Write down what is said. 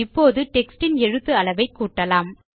இப்போது டெக்ஸ்ட் இன் எழுத்து அளவை கூட்டலாம்